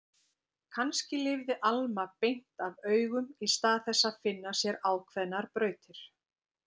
Kannski lifði Alma beint af augum í stað þess að finna sér ákveðnar brautir.